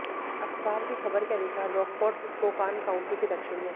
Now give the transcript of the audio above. अखबार की खबर के अनुसार रॉकफोर्ड स्पोकान काउंटी के दक्षिण में है